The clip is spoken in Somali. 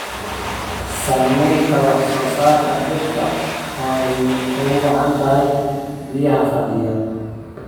Saamaynta wax soo saarka dhirta oo ay ugu wacan tahay biyaha fadhiya.